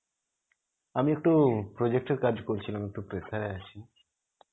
আমি একটু project এর কাজ করছিলাম আছি.